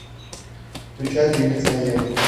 включай три лица евы